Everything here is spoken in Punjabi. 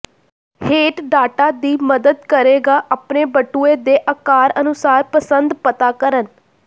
ਹੇਠ ਡਾਟਾ ਦੀ ਮਦਦ ਕਰੇਗਾ ਆਪਣੇ ਬਟੂਏ ਦੇ ਆਕਾਰ ਅਨੁਸਾਰ ਪਸੰਦ ਪਤਾ ਕਰਨ